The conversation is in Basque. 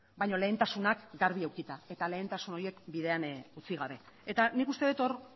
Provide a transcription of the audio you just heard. baina lehentasunak garbi edukita eta lehentasun horiek bidean utzi gabe eta nik uste dut hor